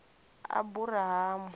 aburahamu